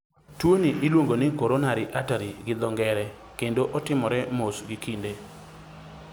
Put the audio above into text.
Tuoni iluongoni coronary artery gi dho ngere, kendo otimore mos gi kinde.